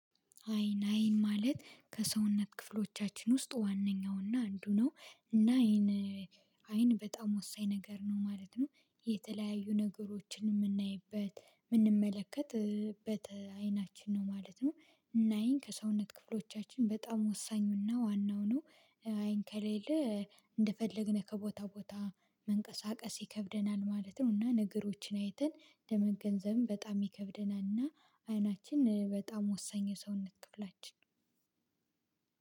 አይን አይን ማለት ከሰውነት ክፍሎቻችን ውስጥ ዋነኛውና አንዱ ነው እና አይን ን አይን በጣም ወሳኝ ነገር ነው ማለት ነው። የተለያዩ ነገሮችን ምናይበት ምንመለከት እ በት አይናችን ነው ማለት ነው ናይን ከሰውነት ክፍሎቻችን በጣም ወሳኙና ዋናው ነው። አይን ከሌለ እንደፈለግነ ከቦታ ቦታ መንቀሳቀስ ይከብደናል ማለት ነው። እና ነገሮችን አይተን ለመገንዘብም በጣም ይከብደናልና አይናችን በጣም ወሳኝ የሰውነት ክፍላችን።